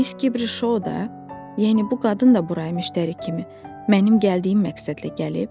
Miss Kibrişo da, yəni bu qadın da buraya müştəri kimi, mənim gəldiyim məqsədlə gəlib?